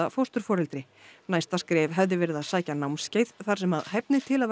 fósturforeldri næsta skref hefði verið að sækja námskeið þar sem hæfni til að